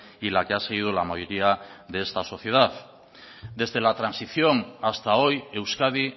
y la que ha seguido la mayoría de esta sociedad desde la transición hasta hoy euskadi